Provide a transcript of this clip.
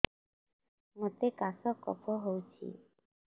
ମୋତେ କାଶ କଫ ହଉଚି